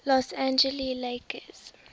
los angeles lakers